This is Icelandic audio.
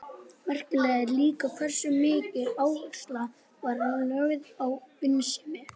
Merkilegt er líka hversu mikil áhersla var lögð á vinnusemi.